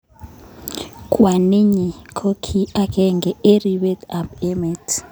Kwaninyi ko ki akenge eng' ripik ap emet